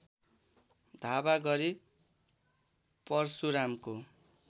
धावा गरी परशुरामको